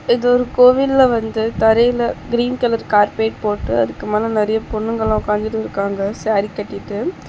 இது ஒரு கோவில்ல வந்து தரையில கிரீன் கலர் கார்பெட் போட்டு அதுக்குமேல நெறைய பொண்ணுங்கெல்லா உக்காந்திடிருக்காங்க ஸ்சாரி கட்டிட்டு.